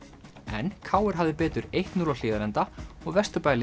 en k r hafði betur eitt til núll á Hlíðarenda og